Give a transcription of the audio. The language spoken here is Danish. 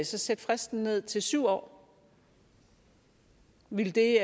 så sætte fristen ned til syv år ville det